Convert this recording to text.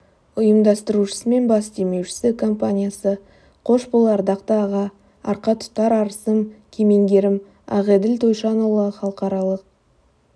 ұйымдастырушысы мен бас демеушісі компаниясы қош бол ардақты аға арқа тұтар арысым кемеңгерім ақеділ тойшанұлы халықаралық